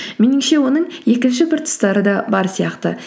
меніңше оның екінші бір тұстары да бар сияқты